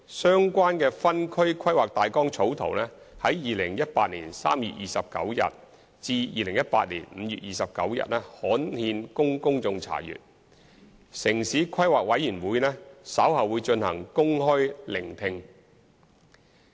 相關的分區規劃大綱草圖於2018年3月29日至2018年5月29日刊憲供公眾查閱，城市規劃委員會稍後會進行公開聆聽會。